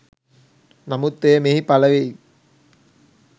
නමුත් එය මෙහි පලවීම